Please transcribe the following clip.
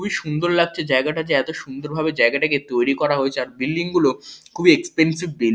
খুবই সুন্দর লাগছে জায়গাটাযে এতো সুন্দর ভাবে জায়গা টাকে যে তৈরি করা হয়েছে আর বিল্ডিং গুলো খুবই এক্সপেন্সিভ বিল্ডি --